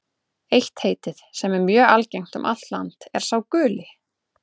Eitt heitið, sem er mjög algengt um allt land, er sá guli.